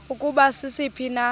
ukuba sisiphi na